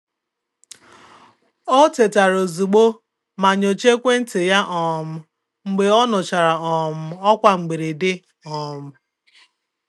Ọ̀ tètàrà ozùgbò mà nyochàà ekwentị ya um mgbe ọ nụchara um ọ́kwá mberede. um